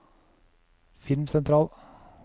filmsentral